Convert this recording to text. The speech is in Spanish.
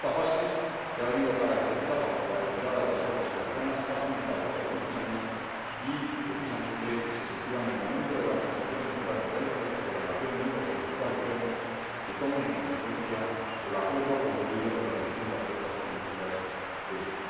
Esta fase, que ha estado caracterizada por la retirada de las tropas americanas, comenzó hace algunos años y, precisamente, se sitúa en el momento de la transición democrática del país hacia la creación de un gobierno de coalición que tome en cuenta el acuerdo concluido entre las distintas fuerzas políticas de Irak.